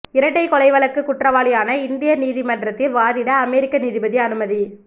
இரட்டை கொலை வழக்கு குற்றவாளியான இந்தியர் நீதிமன்றத்தில் வாதிட அமெரிக்க நீதிபதி அனுமதி